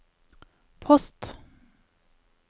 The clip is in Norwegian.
post